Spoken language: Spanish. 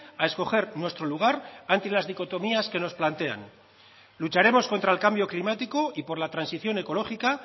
a escoger nuestro lugar ante las dicotomías que nos plantean lucharemos contra el cambio climático y por la transición ecológica